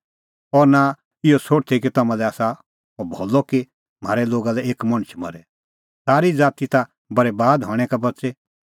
और नां इहअ सोठदै कि तम्हां लै आसा अह भलअ कि म्हारै लोगा लै एक मणछ मरे सारी ज़ाती ता बरैबाद हणैं का बच़े